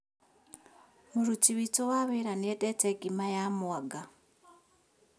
Mũruti witũwa wĩra nĩendeta ngima ya mwanga